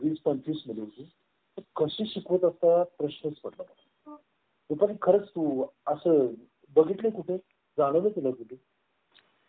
या चिन्हाद्वारे पक्ष ओळखून मतदान करतात या राजकीय पक्षांची निवडणूक आयोगाने नोंदणी करणे आवश्यक आहे.